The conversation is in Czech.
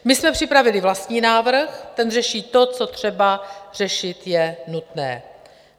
My jsme připravili vlastní návrh, ten řeší to, co třeba řešit je nutné.